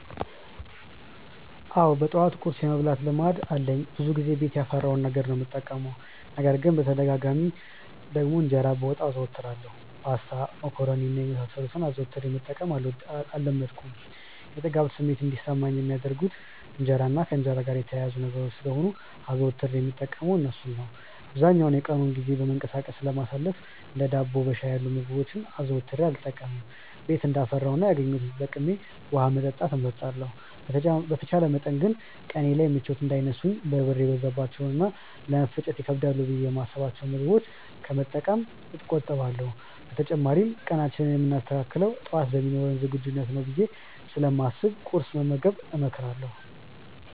አዎ በጠዋት ቁርስ የመብላት ልማድ አለኝ። ብዙውን ጊዜ ቤት ያፈራውን ነገር ነው የምጠቀመው። ነገር ግን በተደጋጋሚ ደግሞ እንጀራ በወጥ አዘወትራለሁ። ፓስታ፣ መኮሮኒ እና የመሳሰሉትን አዘውትሬ መጠቀም አልለመድኩም። የጥጋብ ስሜት እንዲሰማኝ የሚያደርጉት እንጀራ እና ከእንጀራ ጋር የተያያዙ ነገሮች ስለሆኑ አዘውትሬ የምጠቀመው እርሱን ነው። አብዛኛውን የቀኑን ጊዜ በመንቀሳቀስ ስለማሳልፍ እንደ ዳቦ በሻይ ያሉ ምግቦችን አዘውትሬ አልጠቀምም። ቤት እንዳፈራው እና ያገኘሁትን ተጠቅሜ ውሀ መጠጣት እመርጣለሁ። በተቻለ መጠን ግን ቀኔ ላይ ምቾት እንዳይነሱኝ በርበሬ የበዛባቸውን እና ለመፈጨት ይከብዳሉ ብዬ የማስብቸውን ምግቦች ከመጠቀም እቆጠባለሁ። በተጨማሪም ቀናችንን የምናስተካክለው ጠዋት በሚኖረን ዝግጁነት ነው ብዬ ስለማስብ ቁርስ መመገብን እመክራለሁ።